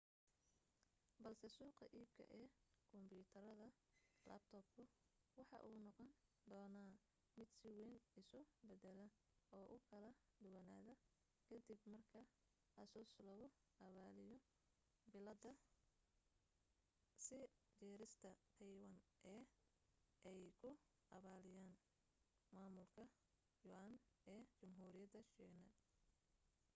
balse suuqa iibka ee kombiyuutarda laabtoobku waxa uu noqon doonaa mid si wayn isu beddela oo u kala duwanaada ka dib marka asus lagu abaaliyo billadada sii jirista taywaan ee ay ku abaaliyaan maamulka yuan ee jamhuuriyadda shiine